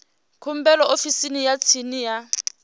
khumbelo ofisini ya tsini ya